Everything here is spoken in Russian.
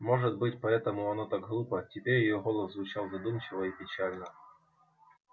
может быть поэтому оно так глупо теперь её голос звучал задумчиво и печально